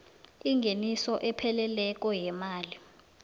ingeniso epheleleko yemali